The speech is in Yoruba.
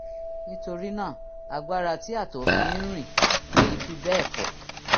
nítorí náà agbára tí àtọ̀ fi ń rìn kì í fi bẹ́ẹ̀ pọ̀